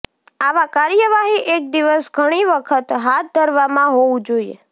આવા કાર્યવાહી એક દિવસ ઘણી વખત હાથ ધરવામાં હોવું જોઈએ